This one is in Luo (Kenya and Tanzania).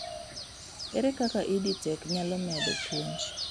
ere kak EDTech nyalo medo puonj